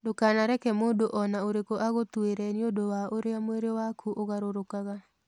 Ndũkanareke mũndũ o na ũrĩkũ agũtuĩre nĩ ũndũ wa ũrĩa mwĩrĩ waku ũgarũrũkaga.